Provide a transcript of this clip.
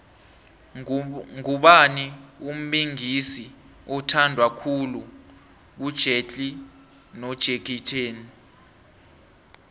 ngubani umbingisi othandwa khulu kujetlee nojakie chan